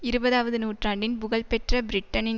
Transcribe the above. இருபதாவது நூற்றாண்டின் புகழ்பெற்ற பிரிட்டனின்